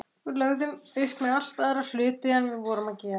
Við lögðum upp með allt aðra hluti en við vorum að gera.